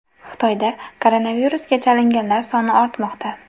Xitoyda koronavirusga chalinganlar soni ortmoqda.